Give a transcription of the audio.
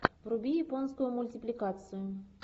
вруби японскую мультипликацию